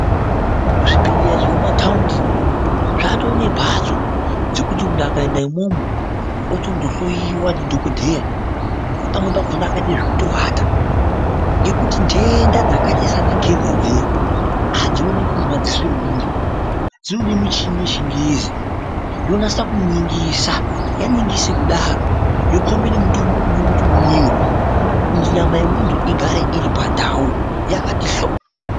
Zvibhedhlera zvemumatawundi zvato nemhatso dzekuti muntu akaenda imwowo otondohloyiwa ndidhokodheya pamwe pakhona akaite zvekutovata. Ngekuti ntenda dzakaite seana kenza dziya hadzionekwi ngemadziso emuntu dzinode michini yechingezi yonasa kuningisa. Yaningise kudaro yokombe nemitombo unodiwe kuti umwiwe kuti nyama yemuntu igare iri pandau yakati hlo.